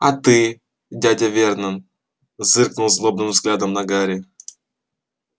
а ты дядя вернон зыркнул злобным взглядом на гарри